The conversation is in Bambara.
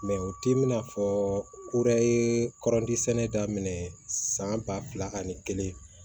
o t'i n'a fɔ ko wɛrɛ ye kɔrɔnti sɛnɛ daminɛ san ba fila ani kelen